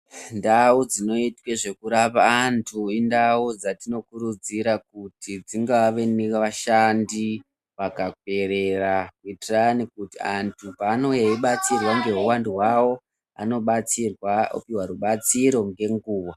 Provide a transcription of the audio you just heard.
Ndau dzinoitwe zvekurapwa antu indau dzatinokurudzira kuti dzingave nevashandi vakaperera kuitirani kuti antu paanouya eibatsirwa ngehuwandu hwavo anobatsirwa opuwa rubatsiro ngenguwa.